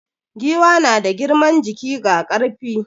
Giwa na da girman jiki ga ƙarfi.